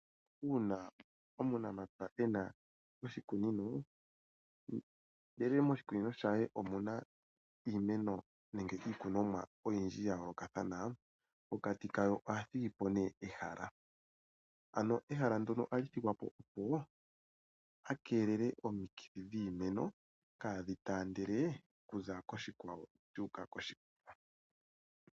Uuna omunamapya ena oshikunino ndele moshikunino she omuna iimeno nenge iikonomwa oyindji ya yoolokathana, pokati kayo ohathigi po nee ehala, ano ehala ndono ohali thigwa po opo a keelele omikithi dhiimeno kaadhi taandele okuza koshikwawo dhuuka koshikwawo.